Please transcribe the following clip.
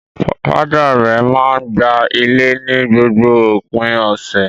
Father rẹ̀ máa ń gba ilé ni gbogbo òpin ọ̀sẹ̀.